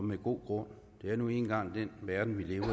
med god grund det er nu engang den verden vi lever